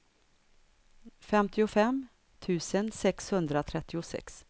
femtiofem tusen sexhundratrettiosex